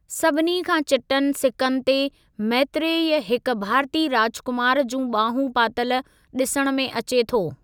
सभिनी खां चिटनि सिकनि ते मैत्रेय हिक भारतीय राजकुमार जूं ॿाहूं पातल ॾिसण में अचे थो।